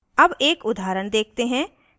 अब एक उदाहरण देखते हैं